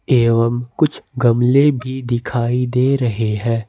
एवम कुछ गमले भी दिखाई दे रहे हैं।